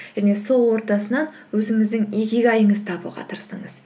және сол ортасынан өзіңіздің икигайыңызды табуға тырысыңыз